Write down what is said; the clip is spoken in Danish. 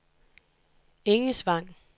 Engesvang